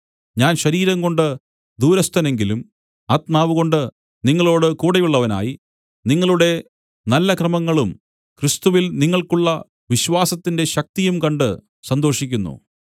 ഞാൻ ശരീരംകൊണ്ട് ദൂരസ്ഥനെങ്കിലും ആത്മാവുകൊണ്ട് നിങ്ങളോട് കൂടെയുള്ളവനായി നിങ്ങളുടെ നല്ല ക്രമങ്ങളും ക്രിസ്തുവിൽ നിങ്ങൾക്കുള്ള വിശ്വാസത്തിന്റെ ശക്തിയും കണ്ട് സന്തോഷിക്കുന്നു